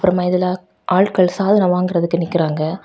அப்பறமா இதுல ஆட்கள் சாதனம் வாங்குறதுக்கு நிக்கிறாங்க.